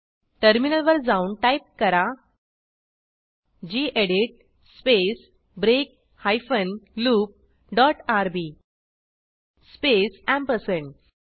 terminal वर जाऊन type करा gedit space break hyphen loop dot RB space ampersand